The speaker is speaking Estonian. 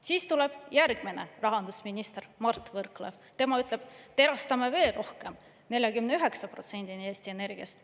Siis tuleb järgmine rahandusminister, Mart Võrklaev, tema ütleb, et erastame veel rohkem, 49%‑ni Eesti Energiast.